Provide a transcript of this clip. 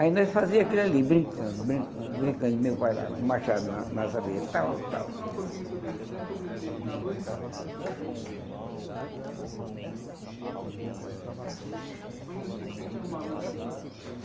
Aí nós fazia aquilo ali, brincando, brincando, brincando, e meu pai lá o machado na nas abelha, tal, tal.